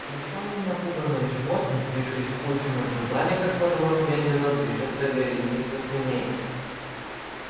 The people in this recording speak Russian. смущённые и напуганные животные сбившись в кучу наблюдали как по двору медленно движется вереница свиней